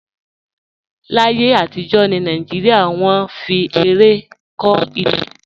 Láyé àtijọ́ ní Nàìjíríà, wọ́n fi ẹrẹ̀ kọ́ ilé